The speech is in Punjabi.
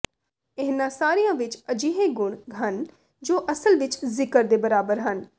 ਇਹਨਾਂ ਸਾਰਿਆਂ ਵਿਚ ਅਜਿਹੇ ਗੁਣ ਹਨ ਜੋ ਅਸਲ ਵਿਚ ਜ਼ਿਕਰ ਦੇ ਬਰਾਬਰ ਹਨ